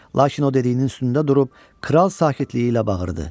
Lakin o dediyinin üstündə durub kral sakitliyi ilə bağırdı.